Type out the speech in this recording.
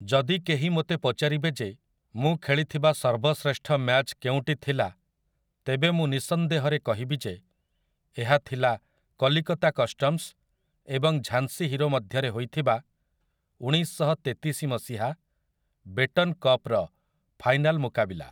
ଯଦି କେହି ମୋତେ ପଚାରିବେ ଯେ ମୁଁ ଖେଳିଥିବା ସର୍ବଶ୍ରେଷ୍ଠ ମ୍ୟାଚ କେଉଁଟି ଥିଲା, ତେବେ ମୁଁ ନିଃସନ୍ଦେହରେ କହିବି ଯେ ଏହା ଥିଲା କଲିକତା କଷ୍ଟମ୍ସ୍ ଏବଂ ଝାନ୍ସୀ ହିରୋ ମଧ୍ୟରେ ହୋଇଥିବା ଉଣେଇଶଶହତେତିଶି ମସିହା ବେଟନ୍ କପ୍‌ର ଫାଇନାଲ୍ ମୁକାବିଲା ।